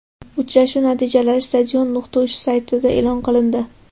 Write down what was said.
Uchrashuv natijalari Stadion.uz saytida e’lon qilindi .